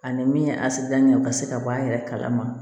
Ani min ye a sigida ɲɛ ka se ka bɔ a yɛrɛ kalama